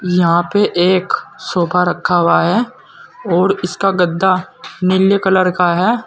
यहां पे एक सोफा रखा हुआ है और इसका गद्दा नीले कलर का है।